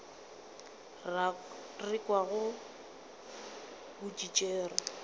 re kwago o di tšere